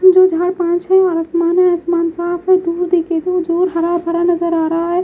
जो झाड़ पांच हैं और आसमान है आसमान साफ है दूर देखें तो जो हरा भरा नजर आ रहा है।